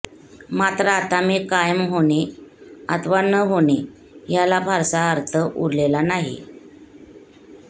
मात्र आता ती कायम होणे अथवा न होणे याला फारसा अर्थ उरलेला नाही